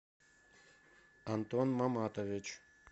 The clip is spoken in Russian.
антон маматович